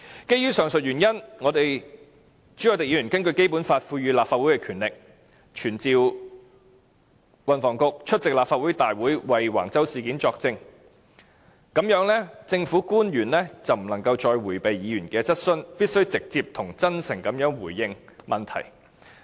基於上述原因，朱凱廸議員根據《基本法》賦予立法會的權力，傳召運輸及房屋局局長出席立法會會議為橫洲事件作證，這樣政府官員便不能再迴避議員的質詢，必須直接及真誠地回應問題。